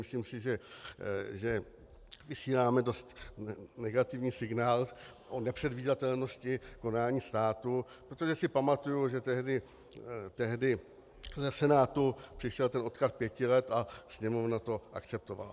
Myslím si, že vysíláme dost negativní signál o nepředvídatelnosti konání státu, protože si pamatuju, že tehdy ze Senátu přišel ten odklad pěti let a Sněmovna to akceptovala.